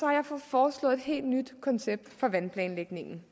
jeg foreslået et helt nyt koncept for vandplanlægningen